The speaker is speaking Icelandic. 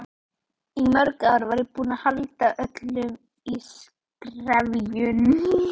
Eyktarsmára